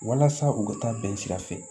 Walasa u ka taa bɛn sira fɛ